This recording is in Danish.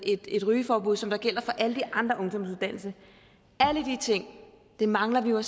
et rygeforbud som gælder for alle de andre ungdomsuddannelser alle de ting mangler vi jo at